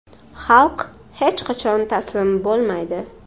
Xalq hech qachon taslim bo‘lmaydi.